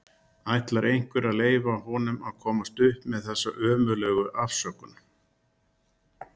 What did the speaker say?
Ætlar einhver að leyfa honum að komast upp með þessa ömurlegu afsökun??